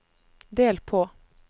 del på